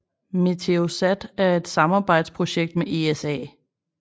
Meteosat er et samarbejdsprojekt med ESA